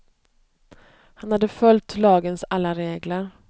Han hade följt lagens alla regler.